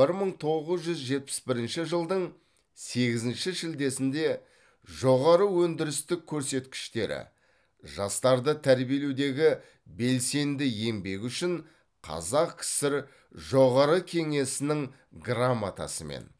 бір мың тоғыз жүз жетпіс бірінші жылдың сегізінші шілдесінде жоғары өндірістік көрсеткіштері жастарды тәрбиелеудегі белсенді еңбегі үшін қазақ кср жоғары кеңесінің грамотасымен